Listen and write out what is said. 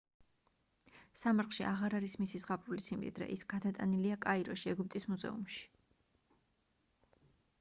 სამარხში აღარ არის მისი ზღაპრული სიმდიდრე ის გადატანილია კაიროში ეგვიპტის მუზეუმში